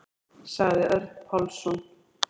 Sagði Örn Pálsson.